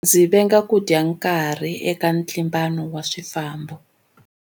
Ndzi venga ku dya nkarhi eka ntlimbano wa swifambo.